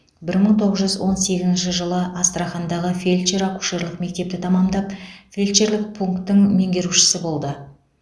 бір мың тоғыз жүз он сегізінші жылы астрахандағы фельдшер акушерлік мектепті тәмамдап фельдшерлік пунктің меңгерушісі болды